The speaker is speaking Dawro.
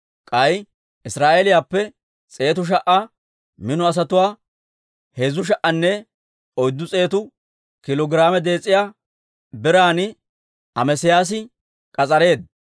K'ay Israa'eeliyaappe s'eetu sha"a mino asatuwaa heezzu sha"anne oyddu s'eetu kiilo giraame dees'iyaa biran Amesiyaasi k'as'areedda.